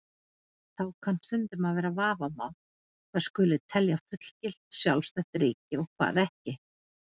Þá kann stundum að vera vafamál hvað skuli telja fullgilt, sjálfstætt ríki og hvað ekki.